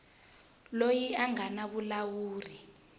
loyi a nga na vulawuri